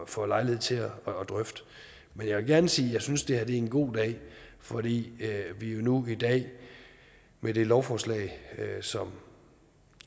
får lejlighed til at drøfte men jeg vil gerne sige at jeg synes det her er en god dag fordi vi nu i dag med det lovforslag som